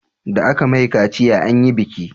Da aka mai kaciya anyi biki